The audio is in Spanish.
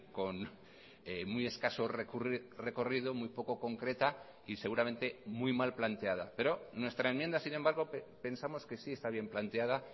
con muy escaso recorrido muy poco concreta y seguramente muy mal planteada pero nuestra enmienda sin embargo pensamos que sí está bien planteada